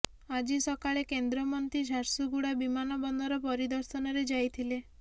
ଆଜି ସକାଳେ କେନ୍ଦ୍ରମନ୍ତ୍ରୀ ଝାରସୁଗୁଡ଼ା ବିମାନ ବନ୍ଦର ପରିଦର୍ଶନରେ ଯାଇଥିଲେ